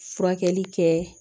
Furakɛli kɛ